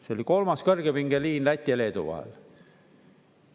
See oli kolmas kõrgepingeliin Läti ja Leedu vahel.